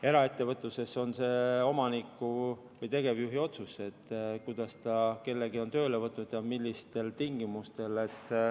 Eraettevõtluses on see omaniku või tegevjuhi otsus, kuidas ta kellegi on tööle võtnud ja millistel tingimustel.